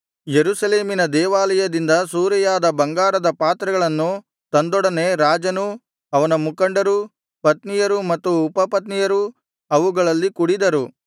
ಯೆರೂಸಲೇಮಿನ ದೇವಾಲಯದಿಂದ ಸೂರೆಯಾದ ಬಂಗಾರದ ಪಾತ್ರೆಗಳನ್ನು ತಂದೊಡನೆ ರಾಜನೂ ಅವನ ಮುಖಂಡರೂ ಪತ್ನಿಯರು ಮತ್ತು ಉಪಪತ್ನಿಯರೂ ಅವುಗಳಲ್ಲಿ ಕುಡಿದರು